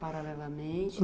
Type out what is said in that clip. Paralelamente?